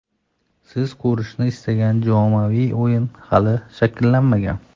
Siz ko‘rishni istagan jamoaviy o‘yin hali shakllanmagan.